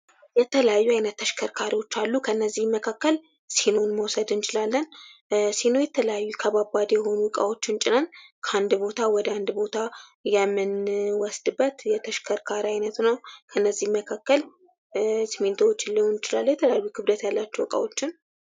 የተለያዩ አይነት ተሽከርካሪዎች አሉ ከእነዚህም መካከል ሲኖን መውሰድ እንችላለን ሲኖ የተለያዩ ከባባድ የሆኑ እቃዎችን ጭነን ከአንድ ቦታ ወደ ሌላ ቦታ የምኖስድበት የተሽከርካሪ አይነት ነው ከነዚህም መካከል ስሚንቶ ሊሆን ይችላል የተለያዩ ክብደት ያላቸውን እቃዎች የምንጭንበት ነው።